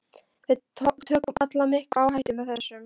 Við tökum öll mikla áhættu með þessu.